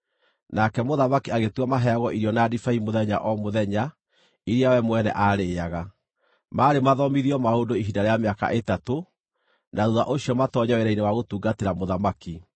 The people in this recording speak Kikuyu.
Nake mũthamaki agĩtua maheagwo irio na ndibei mũthenya o mũthenya iria we mwene aarĩĩaga; maarĩ mathomithio maũndũ ihinda rĩa mĩaka ĩtatũ, na thuutha ũcio matoonye wĩra-inĩ wa gũtungatĩra mũthamaki.